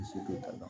Se tɛ a dɔn